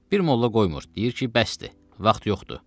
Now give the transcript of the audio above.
Bir molla qoymur, deyir ki, bəsdir, vaxt yoxdur.